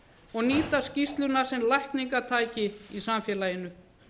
og nýta skýrsluna sem lækningatæki í samfélaginu